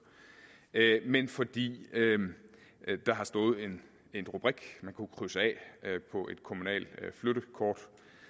men fordi der har stået en rubrik man kunne krydse af på et kommunalt flyttekort